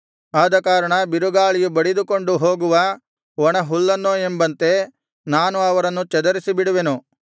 ಆದಕಾರಣ ಬಿರುಗಾಳಿಯು ಬಡಿದುಕೊಂಡು ಹೋಗುವ ಒಣ ಹುಲ್ಲನ್ನೋ ಎಂಬಂತೆ ನಾನು ಅವರನ್ನು ಚದರಿಸಿಬಿಡುವೆನು